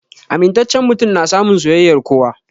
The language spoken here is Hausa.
Amintacen mutum na samun soyayyar kowa